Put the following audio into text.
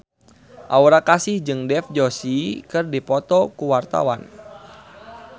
Aura Kasih jeung Dev Joshi keur dipoto ku wartawan